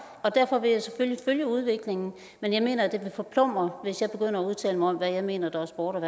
og derfor vil jeg selvfølgelig følge udviklingen men jeg mener det vil forplumre hvis jeg begynder at udtale mig om hvad jeg mener er sport